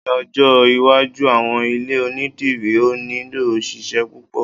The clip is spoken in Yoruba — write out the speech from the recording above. ní ọjọ iwájú, àwọn ilé onidiri o ni nilo òṣìṣẹ́ púpò